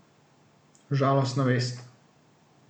Žalostna vest.